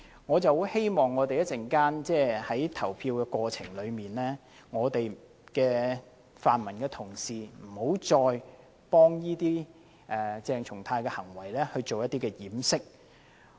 我很希望稍後就議案投票時，泛民同事不要再為鄭松泰議員的行為作掩飾。